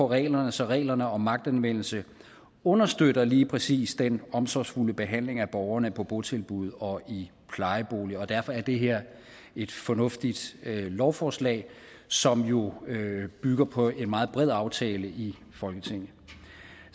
reglerne så reglerne om magtanvendelse understøtter lige præcis den omsorgsfulde behandling af borgerne på botilbud og i plejeboliger og derfor er det her et fornuftigt lovforslag som jo bygger på en meget bred aftale i folketinget